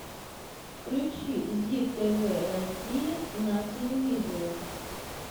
включи зи тв россия на телевизоре